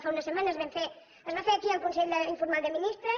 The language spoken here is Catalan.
fa unes setmanes es va fer aquí el consell informal de ministres